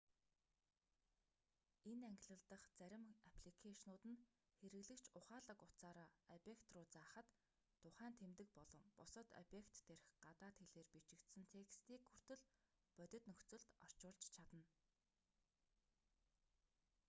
энэ ангилал дах зарим апликэйшнууд нь хэрэглэгч ухаалаг утсаараа объект руу заахад тухайн тэмдэг болон бусад объект дээрх гадаад хэлээр бичигдсэн текстийг хүртэл бодит нөхцөлд орчуулж чадна